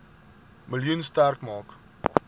miljoen sterk maak